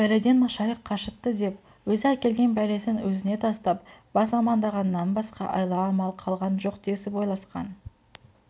бәледен машайық қашыпты деп өзі әкелген бәлесін өзіне тастап бас амандағаннан басқа айла-амал қалған жоқ десіп ойласқан